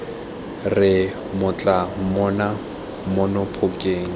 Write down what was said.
re mmatla rona mono phokeng